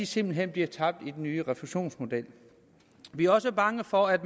simpelt hen bliver tabt med den nye refusionsmodel vi er også bange for at